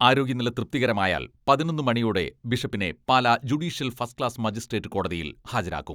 ആരോഗ്യനില തൃപ്തികരമായാൽ പതിനൊന്ന് മണിയോടെ ബിഷപ്പിനെ Pala judicial first class magistrate കോടതിയിൽ ഹാജരാക്കും.